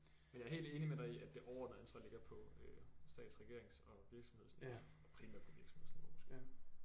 Men jeg er helt enig med dig i at det overordnede ansvar ligger på øh stats regerings og virksomhedsniveau primært på virksomhedsniveau måske